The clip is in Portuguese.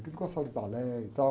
É que ele gostava de balé e tal.